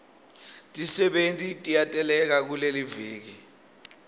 tisebenti tiyateleka kuleliviki